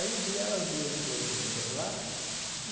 Aí, um dia, elas duas foram juntas lá e...